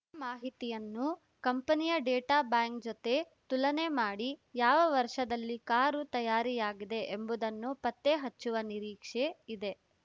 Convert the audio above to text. ಮಾಹಿತಿಯನ್ನು ಕಂಪನಿಯ data bank ಜತೆ ತುಲನೆ ಮಾಡಿ ಯಾವ ವರ್ಷದಲ್ಲಿ ಕಾರು ತಯಾರಾಗಿದೆ ಎಂಬುದನ್ನು ಪತ್ತೆ ಹಚ್ಚುವ ನಿರೀಕ್ಷೆ ಇದೆ